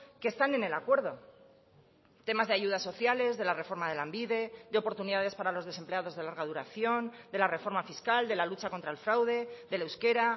que están en el acuerdo temas de ayudas sociales de la reforma de lanbide de oportunidades para los desempleados de larga duración de la reforma fiscal de la lucha contra el fraude del euskera